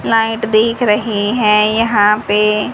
light दिख रहे हैं यहां पे --